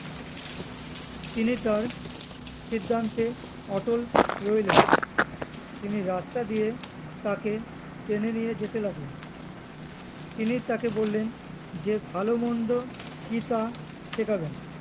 তিনি তার সিদ্ধান্তে অটল রইলেন তিনি রাস্তা দিয়ে তাকে টেনে নিয়ে যেতে লাগলেন তিনি তাকে বললেন যে ভালো মন্দ কি তা শেখাবেন